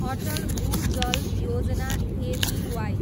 अटल भू जल योजना, एबिवाई